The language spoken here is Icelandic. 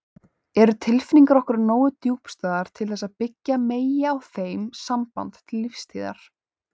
Eru tilfinningar okkar nógu djúpstæðar til þess að byggja megi á þeim samband til lífstíðar?